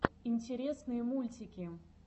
интересные мультики